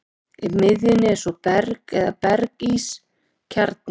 Í miðjunni er svo berg eða berg-ís kjarni.